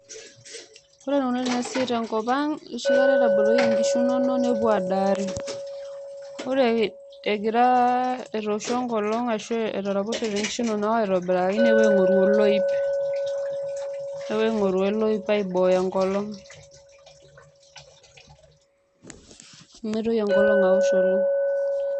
Ore eneikunari enasiai tenkop ang' enoshi kata itaboloyie nkishu inonok nepuo adaari. Ore etooshuo enkolong' netraposhote nkishu inonok aitobiraki, nepuo aing'oru oloip aibooyo enkolong' peemeitoki enkolong' awosh.